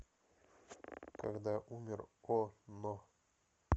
когда умер о но